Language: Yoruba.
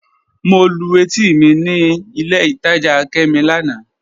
Mọ̀ lú ètì mi ní ilẹ̀ ìtajá Kẹ́mí lánà.